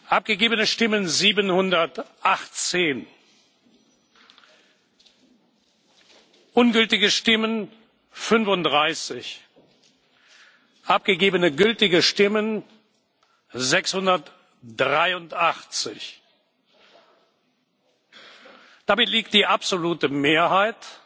Abgegebene Stimmen 718 Ungültige Stimmen 35 Abgegebene gültige Stimmen 683 Damit liegt die absolute Mehrheit,